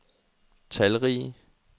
talrige